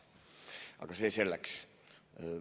Aga see selleks.